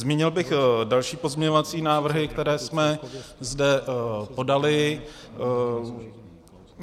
Zmínil bych další pozměňovací návrhy, které jsme zde podali.